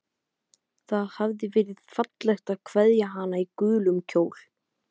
Það hafði verið fallegt að kveðja hana í gulum kjól.